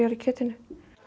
í kjötinu